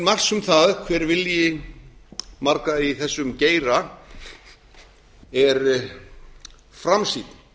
marks um það hver vilji margra í þessum geira er framsýnn